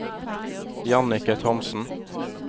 Jannicke Thomsen